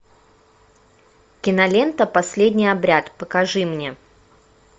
кинолента последний обряд покажи мне